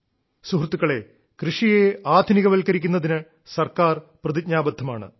സുഹൃത്തുക്കളേ കൃഷിയെ ആധുനികവത്കരിക്കുന്നതിന് സർക്കാർ പ്രതിജ്ഞാബദ്ധമാണ്